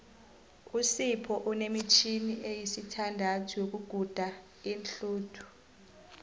usipho unemitjhini esithandathu yokuguda iinhluthu